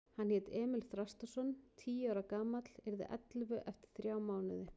Hann hét Emil Þrastarson, tíu ára gamall, yrði ellefu eftir þrjá mánuði.